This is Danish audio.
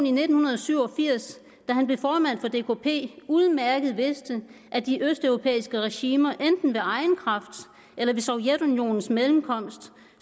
i nitten syv og firs da han blev formand for dkp udmærket vidste at de østeuropæiske regimer enten ved egen kraft eller ved sovjetunionens mellemkomst